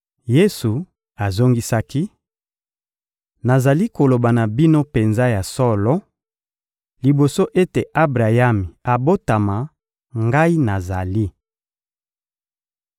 Yesu azongisaki: — Nazali koloba na bino penza ya solo: liboso ete Abrayami abotama, Ngai nazali.